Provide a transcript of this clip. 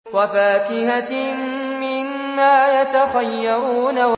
وَفَاكِهَةٍ مِّمَّا يَتَخَيَّرُونَ